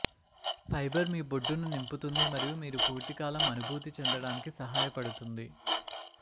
fibre మీ బొడ్డును నింపుతుంది మరియు మీరు పూర్తికాలం అనుభూతి చెందడానికి సహాయపడుతుంది